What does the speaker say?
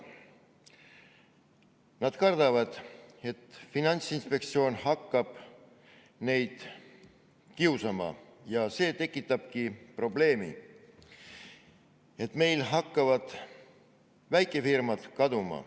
Nad kardavad, et Finantsinspektsioon hakkab neid kiusama, ja see tekitab omakorda probleemi, et meil hakkavad väikefirmad kaduma.